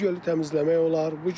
Bu gölü təmizləmək olar.